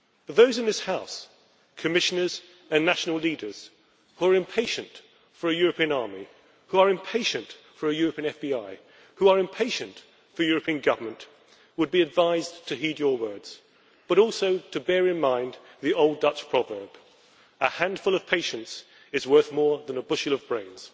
Those in this House as well as Commissioners and national leaders who are impatient for a European army, who are impatient for a European FBI, who are impatient for European government would be advised to heed your words, and also to bear in mind the old Dutch proverb that a handful of patience is worth more than a bushel of praise'.